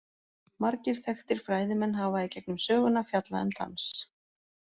Margir þekktir fræðimenn hafa í gegnum söguna fjallað um dans.